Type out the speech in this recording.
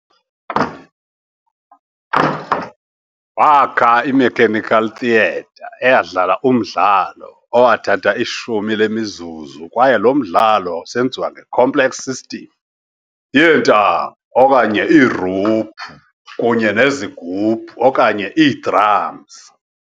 Waakha i-mechanical theater eyadlala umdlalo owathatha ishumi lemizuzu, kwaye lo mdlalo wawusenziwa nge-complex system yeentambo okanye iiruphu kunye nezigubhu okanye ii-drums.